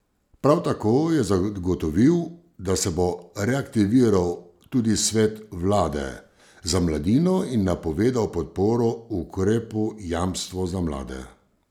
Prav tako je zagotovil, da se bo reaktiviral tudi svet vlade za mladino in napovedal podporo ukrepu jamstvo za mlade.